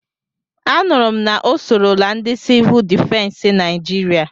Anụrụ m na o sorola ndị Sivụl difensi Naijiria.